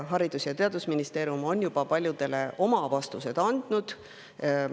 Haridus- ja Teadusministeerium on juba paljudele oma vastused andnud.